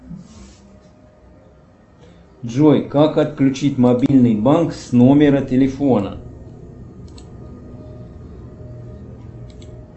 джой как отключить мобильный банк с номера телефона